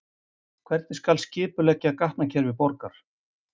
Hvernig skal skipuleggja gatnakerfi borgar?